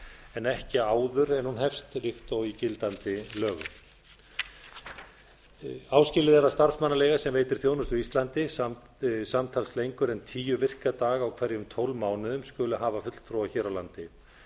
en ekki áður en hún hefst líkt og í gildandi lögum áskilið er að starfsmannaleiga sem veitir þjónustu á íslandi samtals lengur en tíu virka daga á hverjum tólf mánuðum skuli hafa fulltrúa hér á landi